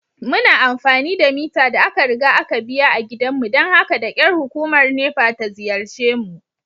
Muna amfani da mita da aka riga aka biya a gidanmu don haka da kyar hukumar NEPA ta ziyarce mu.